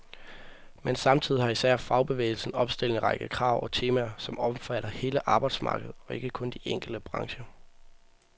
Men samtidig har især fagbevægelsen opstillet en række krav og temaer, som omfatter hele arbejdsmarkedet og ikke kun de enkelte brancher.